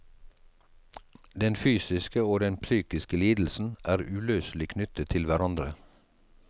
Den fysiske og den psykiske lidelsen er uløselig knyttet til hverandre.